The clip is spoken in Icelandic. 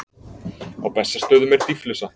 Á Bessastöðum er dýflissa.